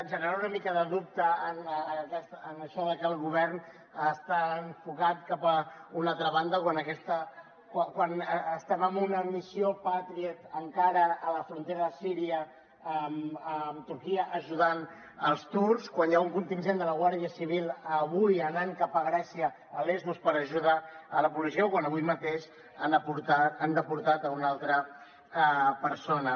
generar una mica de dubte en això de que el govern està enfocat cap a una altra banda quan estem en una missió patriot encara a la frontera de síria amb turquia ajudant els turcs quan hi ha un contingent de la guàrdia civil avui anant cap a grècia a lesbos per ajudar la policia o quan avui mateix han deportat una altra persona